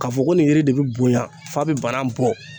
K'a fɔ ko nin yiri de bi bonya f'a bi banan bɔ